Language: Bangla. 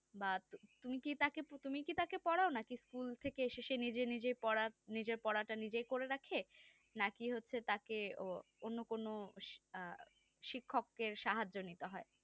বা তুমিকি তাকে তুমিকি তাকে পড়াও নাকি school থেকে এসে সে নিজে নিজেই পড়া নিজের পড়াটা নিজেই করে রাখে নাকি হচ্ছে তাকে অন্য কোনো আ শিক্ষক এর সাহায্য নিতে হয়